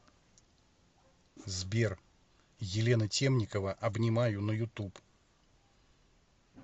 сбер елена темникова обнимаю на ютуб